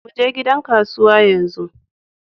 Muje gidan kasuwa yanzu.